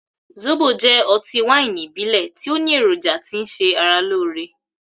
Zóbo jẹ́ ọtí wáìnì ìbílẹ̀ tí ó ní èròjà tí ń ṣe ara lóore.